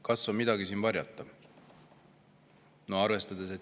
Kas siin on midagi varjata?